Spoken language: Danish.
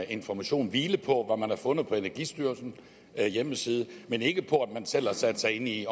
information hvile på hvad man har fundet på energistyrelsens hjemmeside men ikke på at man selv har sat sig ind i